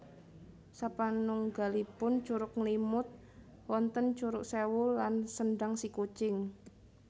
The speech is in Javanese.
Sapanunggalipun Curug Nglimut wonten Curug Sewu lan Sendang Sikucing